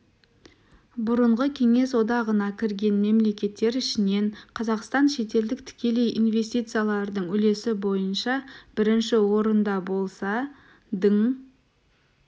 бұрынғы кеңес одағына кірген мемлекеттер ішінен қазақстан шетелдік тікелей инвестициялардың үлесі бойынша бірінші орында болса дың